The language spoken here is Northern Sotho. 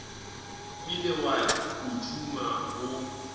ile wa o tšhuma o